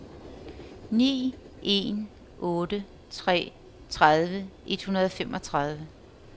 ni en otte tre tredive et hundrede og femogtredive